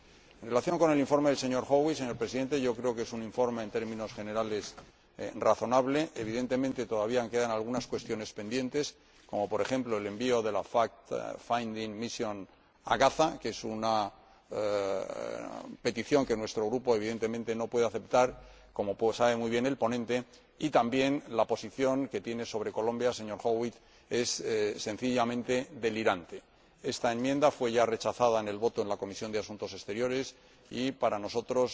En relación con el informe del señor Howitt, señora Presidenta, creo que es un informe en términos generales razonable, evidentemente todavía quedan algunas cuestiones pendientes como, por ejemplo, el envío de la misión de investigación a Gaza que es una petición que nuestro Grupo, evidentemente, no puede aceptar, como sabe muy bien el ponente y, también, la posición que tiene sobre Colombia el señor Howitt, que es sencillamente delirante. Esta enmienda ya fue rechazada en la votación en la Comisión de Asuntos Exteriores y, para nosotros,